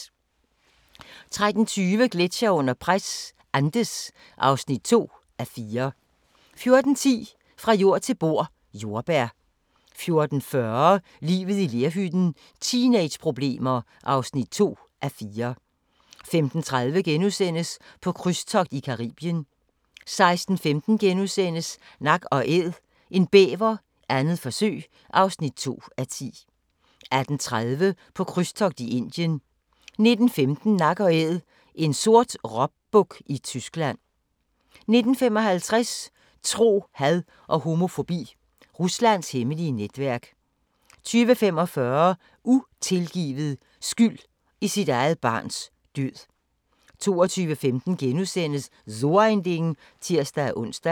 13:20: Gletsjere under pres – Andes (2:4) 14:10: Fra jord til bord: Jordbær 14:40: Livet i lerhytten – teenageproblemer (2:4) 15:30: På krydstogt i Caribien * 16:15: Nak & Æd – en bæver, 2. forsøg (5:10)* 18:30: På krydstogt i Indien 19:15: Nak & Æd – en sort råbuk i Tyskland 19:55: Tro, had og homofobi – Ruslands hemmelige netværk 20:45: Utilgivet – skyld i sit eget barns død 22:15: So ein Ding *(tir-ons)